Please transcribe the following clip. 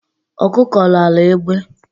Ọkụkọ ráara egbe